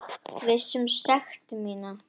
Viss um sekt mína.